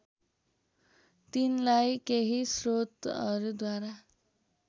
तिनलाई केही स्रोतहरूद्वारा